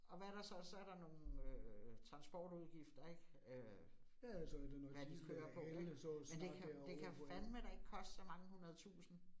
Og hvad der så, så der nogle øh transportudgifter ik. Øh hvad de kører på ik, men det kan det kan fandme da ikke koste så mange hundredetusinde